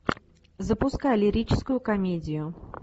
запускай лирическую комедию